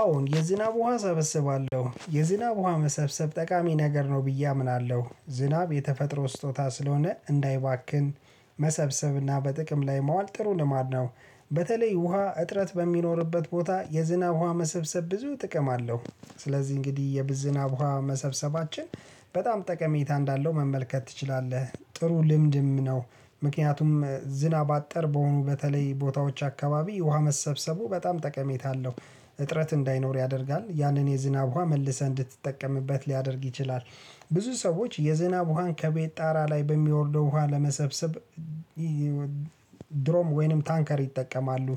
አዎን የዝናብ ውሃ እሰበስባለሁ የዝናብ ውሃ መሰብሰብ ጠቃሚ ነገር ነው ብዬ አምናለሁ ዝናብ የተፈጥሮ ስጦታ ስለሆነ እንዳይባክን መሰብሰብና በጥቅም ላይ ማዋል ጥሩ ልማድ ነው። በተለይ ውሃ እጥረት በሚኖርበት ቦታ የዝናብ ውሃ መሰብሰብ ብዙ ጥቅም አለው። ስለዚህ እንግዲህ የዝናብ ውሃ መሰብሰባችን በጣም ጠቀሜታ እንዳለው መመልከት ትችላለህ ጥሩ ልምድም ነው። ምክንያቱም ዝናብ አጠር በሆኑ በተለይ ቦታዎች አካባቢ ውሃ መሰብሰቡ በጣም ጠቀሜታ አለው። እጥረት እንዳይኖር ያደርጋል ያንን የዝናብ ውሃ መልሰህ እንድትጠቀምበት ሊያደርግ ይችላል። ብዙ ሰዎች የዝናብ ውሃን ከቤት ጣራ ላይ በሚወርደው ውሃ ለመሰብሰብ ድሮም ወይንም ታንከር ይጠቀማሉ።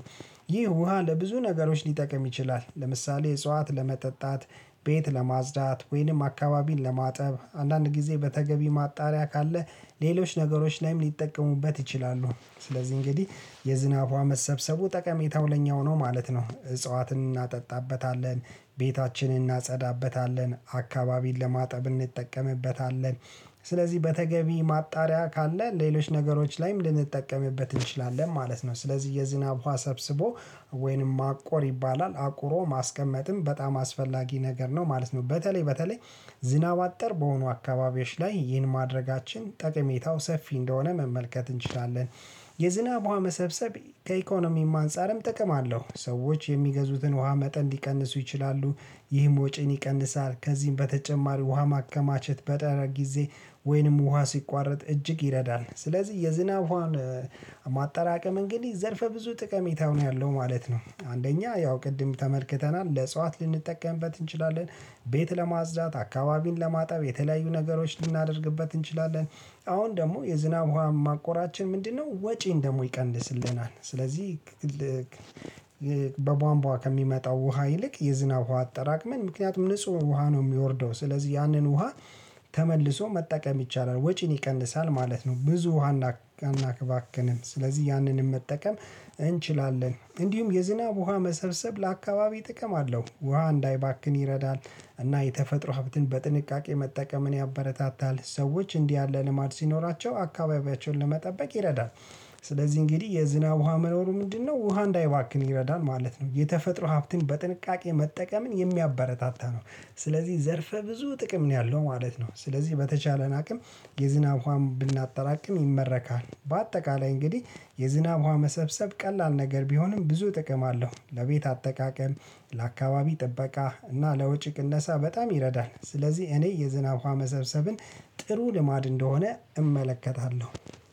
ይህ ውሃ ለብዙ ነገሮች ሊጠቅም ይችላል። ለምሳሌ እጽዋት ለመጠጣት ቤት ለማጽዳት ወይንም አካባቢን ለማጠብ አንዳንድ ጊዜ በተገቢ ማጣሪያ ካለ ሌሎች ነገሮች ላይም ሊጠቀሙበት ይችላሉ። ስለዚህ እንግዲህ የዝናብ ውሃ መሰብሰቡ ጠቀሜታው ለኛው ነው ማለት ነው። እጽዋትን እናጠጣበታለን ቤታችንን እናጸዳበታለን አካባቢን ለማጠብ እንጠቀምበታለን። ስለዚህ በተገቢ ማጣሪያ ካለ ሌሎች ነገሮች ላይም ልንጠቀምበት እንችላለን ማለት ነው። ስለዚህ የዝናብ ውሃ ሰብስቦ ወይንም ማቆር ይባላል አቁሮ ማስቀመጥም በጣም አስፈላጊ ነገር ነው። ማለት ነው። በተለይ በተለይ ዝናብ አጠር በሆኑ አካባቢዎች ላይ ይህን ማድረጋችን ጠቀሜታው ሰፊ እንደሆነ መመልከት እንችላለን። የዝናብ ውሃ መሰብሰብ ከኢኮኖሚም አንፃርም ጥቅም አለው ሰዎች የሚገዙትን ውሃ መጠን ሊቀንሱ ይችላሉ። ይህም ወጪን ይቀንሳል። ከዚህም በተጨማሪ ውሃ ማከማቸት በጠረ ጊዜ ወይንም ውሃ ሲቋረጥ እጅግ ይረዳል። ስለዚህ የዝናብ ማጠራቀም እንግዲህ ዘርፈ ብዙ ጠቀሜታው ነው ያለው ማለት ነው። አንደኛ ያው ቅድም ተመልክተናል ለእጽዋት ልንጠቀምበት እንችላለን። ቤት ለማጽዳት አካባቢን ለማጠብ የተለያዩ ነገሮች ልናደርግበት እንችላለን። አሁን ደግሞ የዝናብ ዉሃ ማቆራችን ምንድነው? ወጪን ደግሞ ይቀንስልናል። ስለዚህ በቧንቧ ከሚመጣው ውሃ ይልቅ የዝናብ ውሃ አጠራቅመን ምክንያቱም ንጹህ ውሃ ነው የሚወርደው። ስለዚህ ያንን ውሃ ተመልሶ መጠቀም ይቻላል። ወጪን ይቀንሳል ማለት ነው። ብዙ ውሃ እናክባክንም ስለዚህ ያንንም መጠቀም እንችላለን። እንዲሁም የዝናብ ውሃ መሰብሰብ ለአካባቢ ጥቅም አለው ውሃ እንዳይባክን ይረዳል። እና የተፈጥሮ ሀብትን በጥንቃቄ መጠቀምን ያበረታታል። ሰዎች እንዲህ ያለ ልማድ ሲኖራቸው አካባቢያቸውን ለመጠበቅ ይረዳል። ስለዚህ እንግዲህ የዝናብ ውሃ መኖሩ ምንድነው? ውሃ እንዳይባክን ይረዳል ማለት ነው የተፈጥሮ ሀብትን በጥንቃቄ መጠቀምን የሚያበረታታ ነው። ስለዚህ ዘርፈ ብዙ ጥቅም ነው ያለው ማለት ነው። ስለዚህ በተቻለን አቅም የዝናብ ውሃም ብናጠራቅም ይመረካል። በአጠቃላይ እንግዲህ የዝናብ ውሃ መሰብሰብ ቀላል ነገር ቢሆንም ብዙ ጥቅም አለሁ። ለቤት አጠቃቀም ለአካባቢ ጥበቃ እና ለወጪ ቅነሳ በጣም ይረዳል። ስለዚህ እኔ የዝናብ ዉሃ መሰብሰብን ጥሩ ልማድ እንደሆነ እመለከታለሁ